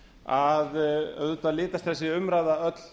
að auðvitað litast þessi umræða öll